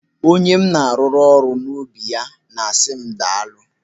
Onye m na-arụrụ n'ubi ya na-asị m daalụ.